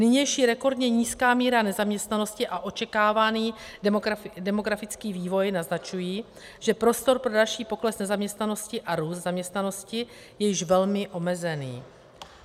Nynější rekordně nízká míra nezaměstnanosti a očekávaný demografický vývoj naznačují, že prostor pro další pokles nezaměstnanosti a růst zaměstnanosti je již velmi omezený.